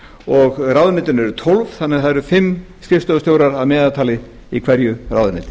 og ráðuneytin eru tólf þannig að það eru fimm skrifstofustjóra að meðaltali í hverju ráðuneyti